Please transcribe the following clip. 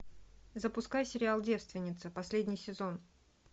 запускай сериал девственница последний сезон